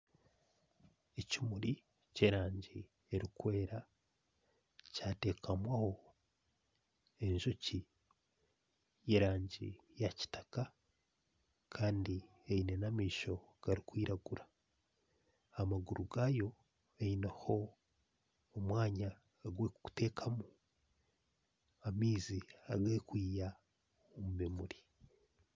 Ekimuri ky'erangi erikwera kyatekamwaho enjoki y'erangi ya kitaka Kandi Eine amaisho garikwiragura Kandi amaguru gaayo gaineho omwanya ogwerikuteekaho amaizi agerikwiha omu bimuri